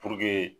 Puruke